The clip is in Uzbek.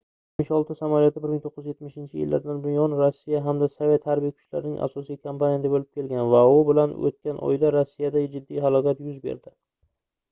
il-76 samolyoti 1970-yillardan buyon rossiya hamda sovet harbiy kuchlarining asosiy komponenti boʻlib kelgan va u bilan oʻtgan oyda rossiyada jiddiy halokat yuz berdi